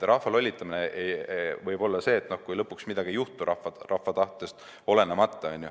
Rahva lollitamine võib olla see, kui lõpuks midagi ei juhtu, rahva tahtest olenemata.